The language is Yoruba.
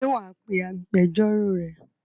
Ṣé wà á pe agbẹjọ́rò rẹ?